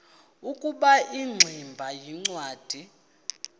ukuba ingximba yincwadi